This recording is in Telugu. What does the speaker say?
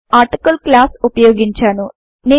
నేను ఆర్టికిల్ క్లాస్ ఉపయోగించాను